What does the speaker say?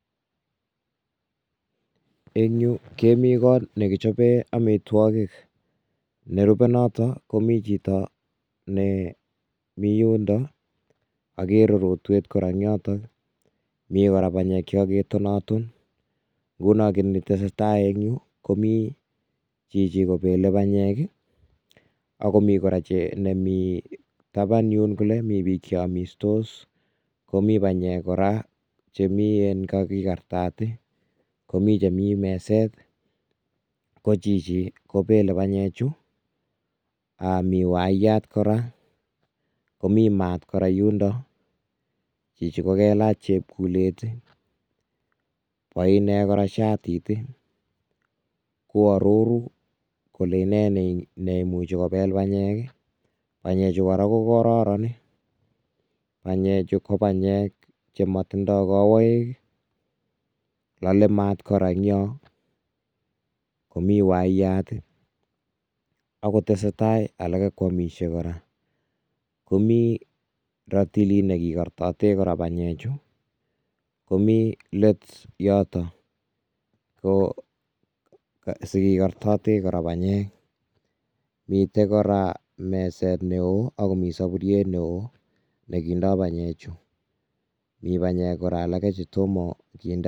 En yuu kemii kot nekichoben amitwokik, nerube notok mii chito nemii yundon okere rotwet kora eng' yoton, mii kora banyek chekakitonaton, ng'uno ko kiit netesetaa eng' yuu komii chichii kobele banyek ak komii kora nemii taban yuun kolee mii biik cheomistos omii banyek kora chemii en kakikartat komii chemi meset kochichi kobele banyechu, mii wayat kora, omii maat kora yundon, chichii kailach chepkulet oinee kora shatit uu aroru kolee inee neimuchi kobel banyek, banyechu kora ko kororon, banyechu ko banyek chemotindo kowoik , lolee maat kora eng' yuu, kora eng' yoon komii wayat ak kotesetai alak kotesetai komii rotilit nekikortoten banyechu, komii leet yoton ko sikikortote banyek, miten kora meset neoo ak komii soburiet neoo nekindo banyechu mii banye alak kora chetomo kinde.